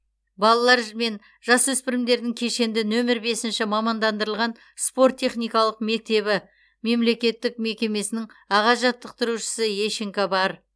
балалар мен жасөспірімдердің кешенді нөмір бесінші мамандандырылған спорт техникалық мектебі мемлекеттік мекемесінің аға жаттықтырушысы ещенко бар